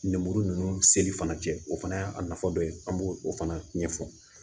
Lemuru ninnu seli fana cɛ o fana y'a nafa dɔ ye an b'o o fana ɲɛfɔ